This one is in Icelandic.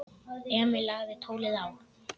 Emil lagði tólið á.